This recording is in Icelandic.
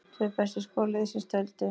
Tvö bestu skor liðsins töldu.